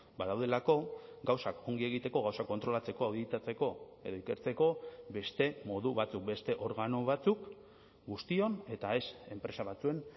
badaudelako gauzak ongi egiteko gauzak kontrolatzeko auditatzeko edo ikertzeko beste modu batzuk beste organo batzuk guztion eta ez enpresa batzuen